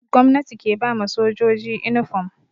Gomnati ke ba ma sojoji inifom.